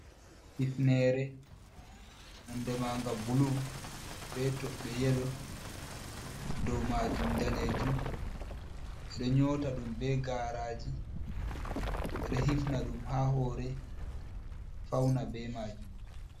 Hifnere nonɗe manga bulu. be tobbe yelo. dow majum danejum. Beɗe nyota ɗum be garaji. Be ɗe hifna ɗum ha hore fauna be majum.